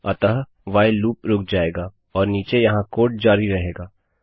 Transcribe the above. अतः व्हाइल लूपरूक जाएगा और नीचे यहाँ कोड जारी रहेगा